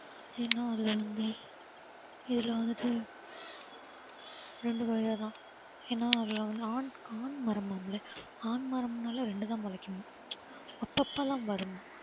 ஏன்னா அதுல வந்து இதுல வந்துட்டு ரெண்டு கொய்யா தான் ஏன்னா அதுல வந்து ஆண் ஆண் மரமாம்ல ஆண் மரம்னாலே ரெண்டு தான் முளைக்குமாம் அப்பப்பலாம் வருமாம்